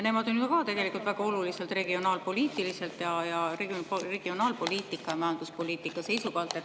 Nemad on ju ka tegelikult väga olulised regionaalpoliitiliselt, regionaalpoliitika ja majanduspoliitika seisukohalt.